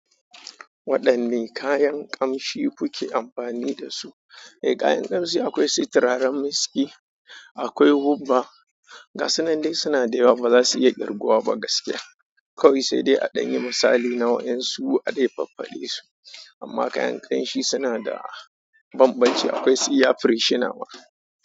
Waɗanne kayan ƙamshi kuke amfani da su? Eh, kayan ƙamshi akwai si tiraren miski, akwai hubba. Gasu nan dai suna da yawa ba za su iya ƙirguwa ba gaskiya. Kawai sai dai a ɗan yi misali na waƴansu a dai faffaɗe su. Amma kayan ƙanshi suna da bambanci. Akwai su air freshener ma.